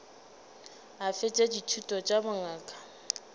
a fetša dithuto tša bongaka